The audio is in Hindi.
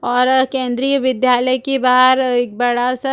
और केंद्रीय विद्यालय के बहार एक बड़ा सा--